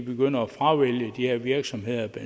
begynder at fravælge de her virksomheder